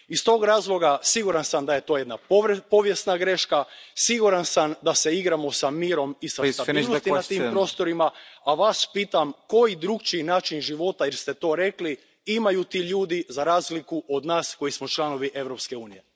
Iz tog razloga, siguran sam da je to jedna povijesna greška, siguran sam da se igramo s mirom i sa stabilnosti na tim prostorima, a Vas pitam Koji drukčiji način života, jer ste to rekli, imaju ti ljudi za razliku od nas koji smo članovi Europske unije?